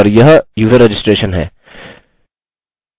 और यह user registration है